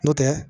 N'o tɛ